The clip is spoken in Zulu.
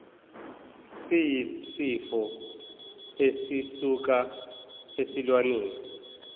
siyisifo esisuka esilwaneni